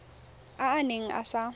a a neng a sa